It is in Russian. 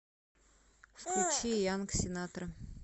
включи янг синатра